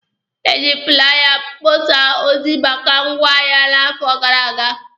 E ji fụlaya kpọsaa ozi maka ngwaahịa n'afọ gara aga.